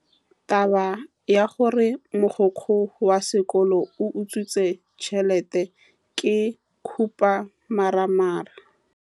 Taba ya gore mogokgo wa sekolo o utswitse tšhelete ke khupamarama.